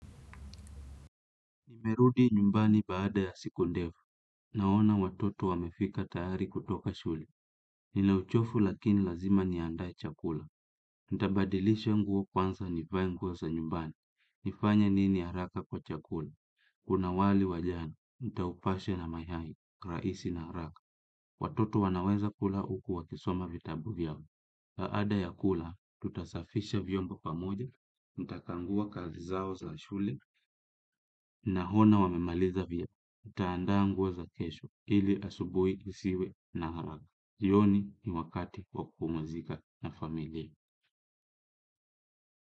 Nimerudi nyumbani baada ya siku ndefu. Naona watoto wamefika tayari kutoka shule. Nina uchovu lakini lazima niandae chakula. Nitabadilisha nguo kwanza nivae nguo za nyumbani. Nifanye nini haraka kwa chakula? Kuna wali wa jana, nitaupasha na mayai, rahisi na haraka. Watoto wanaweza kula huku wakisoma vitabu vyao. Baada ya kula, tutasafisha vyombo pamoja, nitakagua kazi zao za shule, naona wamemaliza vyema. Tutaandaa nguo za kesho ili asubuhi isiwe na haraka. Jioni ni wakati wa kupumzika na familia.